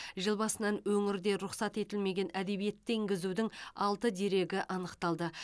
жыл басынан өңірде рұқсат етілмеген әдебиетті енгізудің алты дерегі анықталды